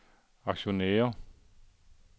aktionærer